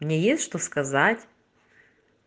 мне есть что сказать